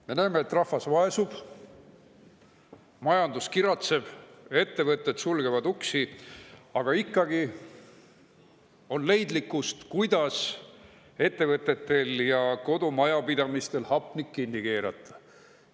Me näeme, et rahvas vaesub, majandus kiratseb, ettevõtted sulgevad uksi, aga ikkagi on leidlikkust,, kuidas ettevõtetel ja kodumajapidamistel hapnik kinni keerata.